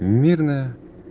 мирная